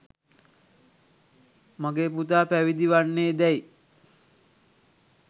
මගේ පුතා පැවිදි වන්නේ දැයි